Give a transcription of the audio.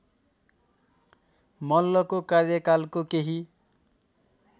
मल्लको कार्यकालको केही